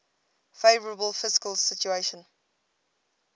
favourable fiscal situation